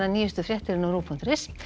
nýjustu fréttir á rúv punktur is